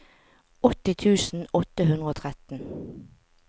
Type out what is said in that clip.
åtti tusen åtte hundre og tretten